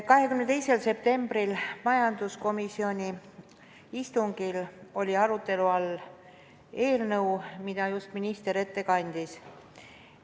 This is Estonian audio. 22. septembril peetud majanduskomisjoni istungil oli arutelu all eelnõu, mille minister just ette kandis.